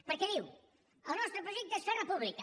perquè diu el nostre projecte és fer república